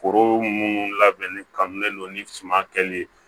Foro minnu labɛnni kannen don ni suman kɛlen ye